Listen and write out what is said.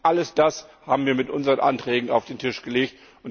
All das haben wir mit unseren Anträgen auf den Tisch gelegt.